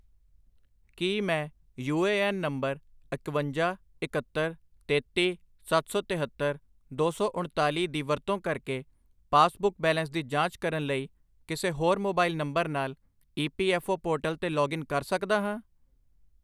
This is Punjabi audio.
ਕੀ ਮੈਂ ਯੂ ਏ ਐੱਨ ਨੰਬਰ ਇਕਵੰਜਾ, ਇਕਹੱਤਰ, ਤੇਤੀ, ਸੱਤ ਸੌ ਤਿਹੱਤਰ, ਦੋ ਸੌ ਉਣਤਾਲੀ ਦੀ ਵਰਤੋਂ ਕਰਕੇ ਪਾਸਬੁੱਕ ਬੈਲੇਂਸ ਦੀ ਜਾਂਚ ਕਰਨ ਲਈ ਕਿਸੇ ਹੋਰ ਮੋਬਾਈਲ ਨੰਬਰ ਨਾਲ E P F O portal 'ਤੇ ਲੌਗਇਨ ਕਰ ਸਕਦਾ ਹਾਂ?